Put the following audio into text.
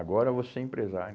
Agora eu vou ser empresário.